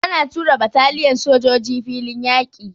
Ana tura bataliyan sojoji filin yaƙi.